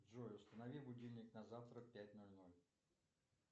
джой установи будильник на завтра пять ноль ноль